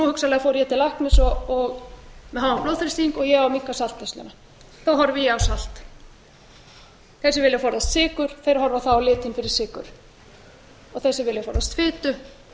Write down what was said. hugsanlega fór ég til læknis með háan blóðþrýsting og ég á að minnka saltneysluna þá horfi ég á salt þeir sem vilja forðast sykur horfa þá á litinn fyrir sykur og þeir sem vilja forðast fitu